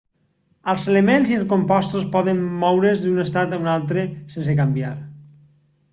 els elements i els compostos poden moure's d'un estat a un altre sense canviar